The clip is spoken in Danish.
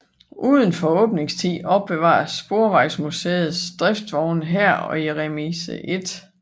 Udenfor åbningstiden opbevares Sporvejsmuseets driftsvogne her og i Remise 1